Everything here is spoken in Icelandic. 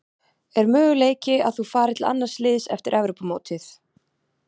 Er möguleiki að þú farir til annars liðs eftir Evrópumótið?